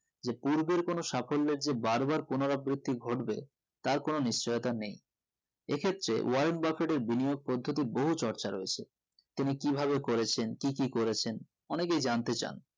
যে পূর্বের কোনো সাফল্য নিজে বার বার পুনরাবৃত্তি ঘটবে তার কোনো নিশ্চিয়তা নেই এক্ষেত্রে ওয়ারেন বাফেটের বিনিয়োগ পদ্ধতি বহু চর্চা রয়েছে তিনি কি ভাবে করেছেন কি কি করেছেন অনেকেই জানতে চান